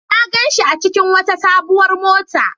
Na gan shi a cikin wata sabuwar mota.